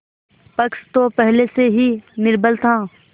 पक्ष तो पहले से ही निर्बल था